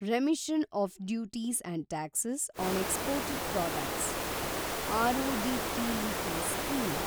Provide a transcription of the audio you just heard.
remission of duties and tax on exported products (RoDTEP) scheme